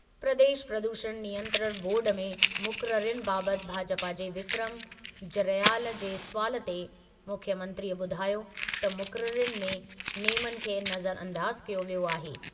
प्रदेश प्रदूषण नियंत्रण बोर्डु में मुक़ररियुनि बाबति भाजपा जे विक्रम जरयाल जे सुवालु ते मुख्यमंत्रीअ ॿुधायो त मुक़ररियुनि में नेमनि खे नज़रअंदाज क्यो वियो आहे।